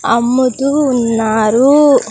అమ్ముతూ ఉన్నారు.